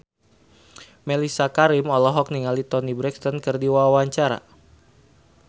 Mellisa Karim olohok ningali Toni Brexton keur diwawancara